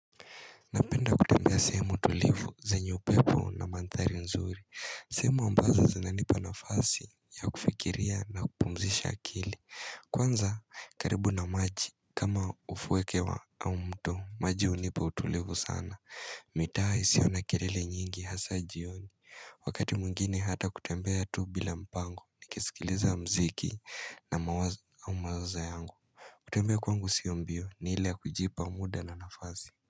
Napenda sehemu tulivu zenye upepo manthari nzuri sehemu ambazo zinanipa nafasi ya kufikiria na kupumzisha akili Kwanza karibu na maji kama ufuo wa au mtu maji unipa utulivu sana mitaa isiona kilele nyingi hasa jioni Wakati mwingine hata kutembea tu bila mpango nikisikiliza muziki na mawazo au mawazo yangu kutembea kwangu sio mbio ni ile kujipa muda na nafasi.